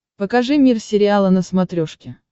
покажи мир сериала на смотрешке